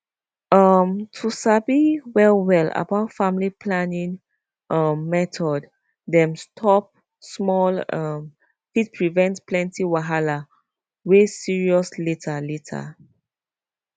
um to sabi well well about family planning um method dem stop small um fit prevent plenty wahala wey serious later later